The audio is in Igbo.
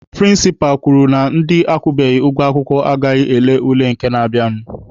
Prịnsịpa kwuru na ndị akwụbeghị ụgwọ akwụkwọ agaghị ele ule nke na-abịanụ.